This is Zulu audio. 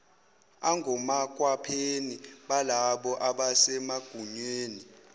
angomakhwapheni balabo abasemagunyeni